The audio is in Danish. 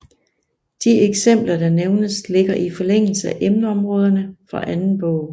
De eksempler der nævnes ligger i forlængelse af emneområderne for anden bog